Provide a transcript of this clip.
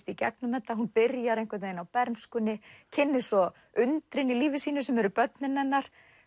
í gegnum þetta hún byrjar á bernskunni kynnist svo undrinu í lífi sínu sem eru börnin hennar